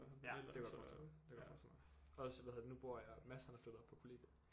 Ja det kan jeg godt forestille mig det kan jeg godt forestille mig også hvad hedder der nu bor jeg Mads han er flyttet op på kollegiet